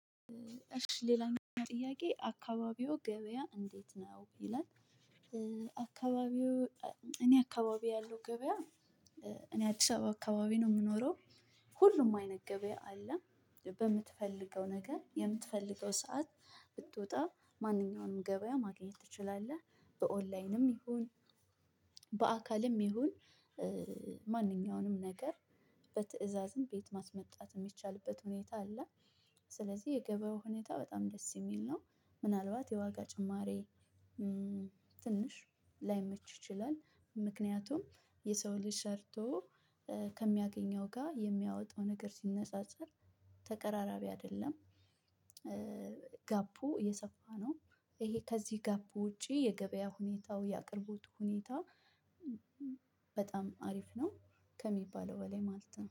እሺ ሌላኛው ጥያቄ አካባቢዎ ገበያ እንዴት ነው ይላል። አካባቢዎ እኔ አካባቢ ያለው ገበያ እኔ አዲስ አበባ አካባቢ ነው የምኖረው። ሁሉም አይነት ገበያ አለ። በምትፈልገው ነገር የምትፈልገው ሰዓት ብትወጣ ማንኛውንም ገበያ ማግኘት ትችላለህ። በኦንላይንም ይሁን በአካልም ይሁን ማንኛውንም ነገር በትእዛዝም ቤት ማስመጣትም የሚቻልበት ሁኔታ አለ። ስለዚህ የገበያው ሁኔታ በጣም ደስ የሚል ነው። ምናልባት የዋጋ ጭማሪ ትንሽ ላይመች ይችላል። ምክንያቱም የሰው ልጅ ሰርቶ ከሚያገኘው ጋር የሚያወጣው ሲነጻጸር ተቀራራቢ አይደለም። ጋፑ የሰፋ ነው። ይሄ ከዚህ ጋፑ ውጪ የገበያ ሁኔታው ያቅርቦት ሁኔታ። በጣም አሪፍ ነው። ከሚባለው በላይ ማለት ነው